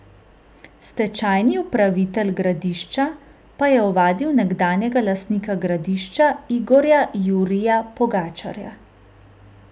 Stečajni upravitelj Gradišča pa je ovadil nekdanjega lastnika Gradišča Igorja Jurija Pogačarja.